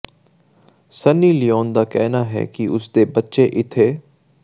Sunny Leone ਦਾ ਕਹਿਣਾ ਹੈ ਕਿ ਉਸ ਦੇ ਬੱਚੇ ਇਥੇ